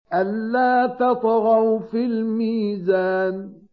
أَلَّا تَطْغَوْا فِي الْمِيزَانِ